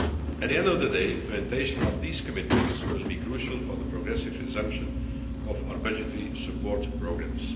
At the end of the day, implementation of these commitments will be crucial for the progressive resumption of our budgetary support programmes.